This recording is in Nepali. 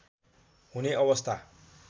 हुने अवस्था